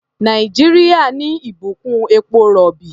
Nàìjíríà ní ìbùkún epo-rọ̀bì.